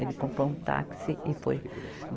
Ele comprou um táxi e foi.